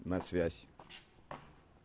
на связь